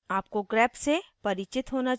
आपको grep से परिचित होना चाहिए